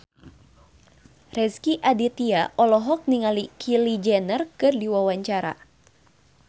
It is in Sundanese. Rezky Aditya olohok ningali Kylie Jenner keur diwawancara